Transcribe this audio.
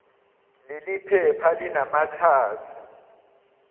leli phepha linamakhasi